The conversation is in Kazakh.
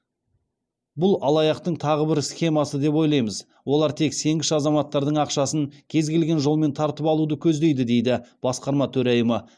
бұл алаяқтың тағы бір схемасы деп ойлаймыз олар тек сенгіш азаматтардың ақшасын кез келген жолмен тартып алуды көздейді дейді басқарма төрайымы